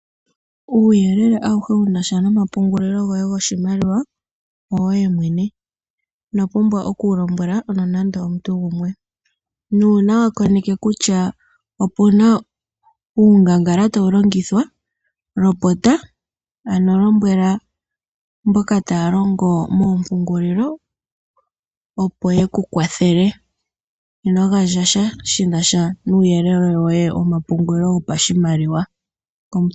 Uuyelele awuhe wunasha nomapungulilo goye goshimaliwa owoye mwene. Ino pumbwa oku wu lombwele nande omuntu gumwe. Nuuna wa koneke kutya opuna uungangala tawu longithwa lopota. Ano lombwele mboka taya longo moompungulilo opo yeku kwathele. Ino gandja sha shinasha nuuyelele womapungulilo go pashimaliwa.